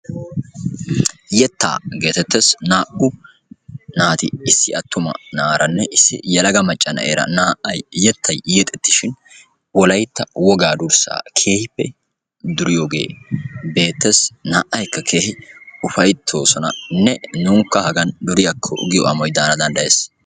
Yettaa geetettees. naa"u naati naati issi attumanaranne issi yelaga macca na'eera yettay yexettishin wolaytta wogaa durssaa keehippe duriyoogee beettees. naa"ayikka keehippe ufayttoosonanne nunkka hagan duriyaakko giyoo amoy daana danddayees.